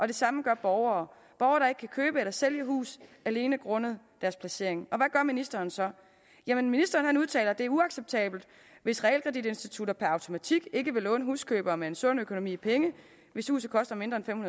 det samme gør borgere borgere der ikke kan købe eller sælge huse alene grundet deres placering og ministeren så jamen ministeren udtaler at det er uacceptabelt hvis realkreditinstitutter per automatik ikke vil låne huskøbere med en sund økonomi penge hvis huset koster mindre end